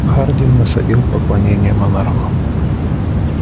хардин насадил поклонение монарху